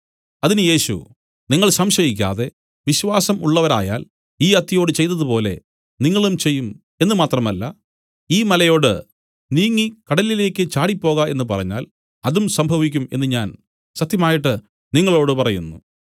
അതിന് യേശു നിങ്ങൾ സംശയിക്കാതെ വിശ്വാസം ഉള്ളവരായാൽ ഈ അത്തിയോട് ചെയ്തതു നിങ്ങളും ചെയ്യും എന്നു മാത്രമല്ല ഈ മലയോട് നീങ്ങി കടലിലേക്ക് ചാടിപ്പോക എന്നു പറഞ്ഞാൽ അതും സംഭവിക്കും എന്നു ഞാൻ സത്യമായിട്ട് നിങ്ങളോടു പറയുന്നു